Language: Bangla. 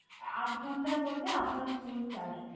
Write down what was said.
আধ ঘন্টার মধ্যে আপনার ফুল চার্জ হয়ে যাবে